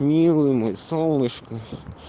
милый мой солнышко